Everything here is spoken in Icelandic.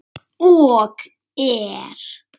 Og er.